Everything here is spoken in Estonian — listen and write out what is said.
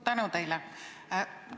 Tänu teile!